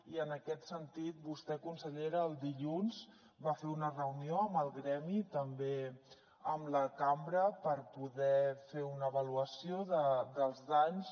i en aquest sentit vostè consellera el dilluns va fer una reunió amb el gremi també amb la cambra per poder fer una avaluació dels danys